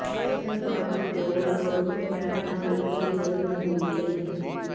ਹਰ party ਕੋਲ floating ਫੈਨਟਾਂ ਲਈ ਖੁੱਲ੍ਹੀ ਜਗ੍ਹਾ ਨਹੀਂ ਹੋਣੀ ਚਾਹੀਦੀ